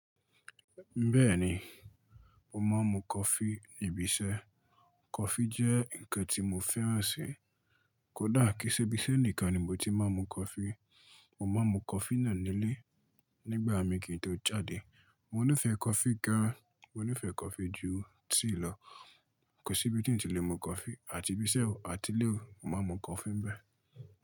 Bẹ́ẹ̀ni, mo máa ń mu coffee níbi iṣẹ́. Coffee jẹ́ ǹkan tí mo fẹ́ràn si. Kódà kí í ṣe ibiṣẹ́ nìkan ni mo ti máa ń mu coffee. Mo máa ń mu coffee náà nílé nígbà mi kì í tó jáde. Mo nífẹ̀ẹ́ coffee gan, mo nífẹ̀ẹ́ coffee jù tíì lọ. Kò sí ibi tí n ti lè mu coffee, àti ibiṣẹ́ òò àti ilé òwò, mo máa ń mu coffee ń bẹ.